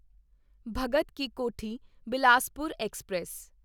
Bhagat ki Kothi Bilaspur express